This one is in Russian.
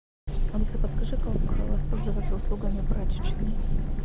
алиса подскажи как воспользоваться услугами прачечной